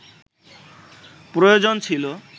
প্রয়োজন ছিল